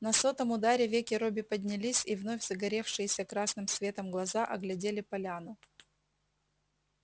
на сотом ударе веки робби поднялись и вновь загоревшиеся красным светом глаза оглядели поляну